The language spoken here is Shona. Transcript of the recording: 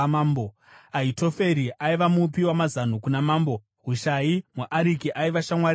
Ahitoferi aiva mupi wamazano kuna mambo. Hushai muAriki aiva shamwari yamambo.